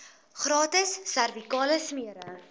gratis servikale smere